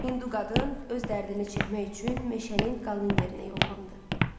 Hindu qadın öz dərdini çəkmək üçün meşənin qalın yerinə yollandı.